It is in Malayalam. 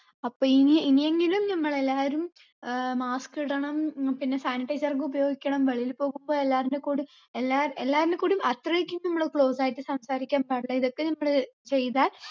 അപ്പൊ ഇനി ഇനിയെങ്കിലും നമ്മള് എല്ലാവരും ഏർ mask ഇടണം ഉം പിന്നെ sanitizer ഒക്കെ ഉപയോഗിക്കണം വെളിയിൽ പോകുമ്പൊ എല്ലാർന്റെ കൂടെ എല്ലാ എല്ലാർടും കൂടിയും അത്രയ്‍ക്കും നമ്മള് close ആയിട്ട് സംസാരിക്കാൻ പാടില്ല ഇതൊക്കെ നമ്മള് ചെയ്താൽ